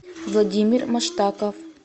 владимир маштаков